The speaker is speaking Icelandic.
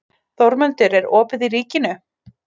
Þórmundur, er opið í Ríkinu?